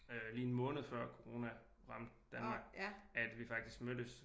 Lige en måned før corona ramte Danmark at vi faktisk mødtes